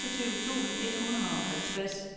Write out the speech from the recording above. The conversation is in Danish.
seksogtyve tusind et hundrede og halvtreds